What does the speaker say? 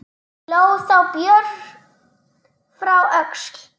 Hló þá Björn frá Öxl.